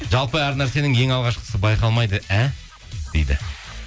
жалпы әр нәрсенің ең алғашқысы байқалмайды ә дейді